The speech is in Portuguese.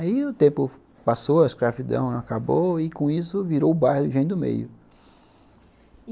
Aí o tempo passou, a escravidão acabou, e com isso virou o bairro Engenho do Meio.